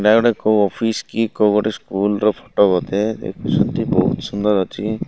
ଏଇଟା ଗୋଟେ କୋଉ ଅଫିସ କି କୋଉ ଗୋଟେ ସ୍କୁଲ ର ଫୋଟୋ ବୋଧେ। ଏଇ ଦୃଶ୍ୟଟି ବହୁତ ସୁନ୍ଦର ଅଛି।